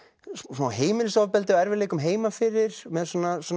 smá heimilisofbeldi og erfiðleikum heima fyrir með